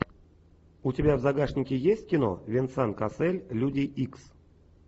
у тебя в загашнике есть кино венсан кассель люди икс